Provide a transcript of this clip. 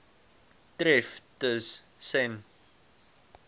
tref tus sen